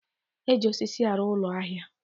Eji osisi arụ ụlọ ahịa